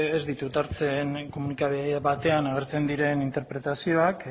ez ditut hartzen komunikabide batean agertzen diren interpretazioak